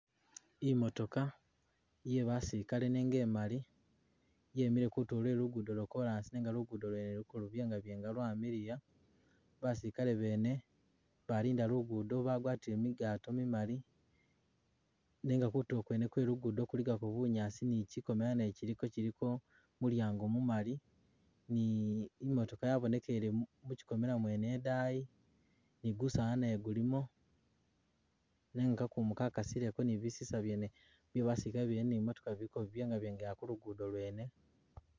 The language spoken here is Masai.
Imotoka yebasilikale nenga imali yemile kutulo lwe lugudo lwo kolasi nega lugudo lwene luliko lubyengabyenga lwamiliya basilikale bene balinda lugudo bagwatile migato mimali nenga kutulo kwene kwelugudo kuligako bunyasi ni kyikomela naye kyiliko mulyango mumali ni imotoka yabonekele muchikomela mwene idayi ni gusala naye gulimo